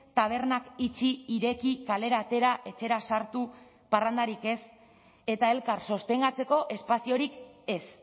tabernak itxi ireki kalera atera etxera sartu parrandarik ez eta elkar sostengatzeko espaziorik ez